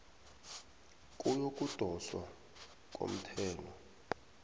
yokudoswa komthelo